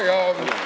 Jajaa!